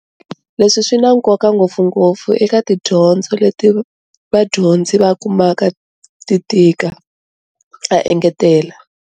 Leswi swi na nkoka, ngopfungopfu eka tidyondzo leti vadyondzi va kumaka ti tika, A engetela.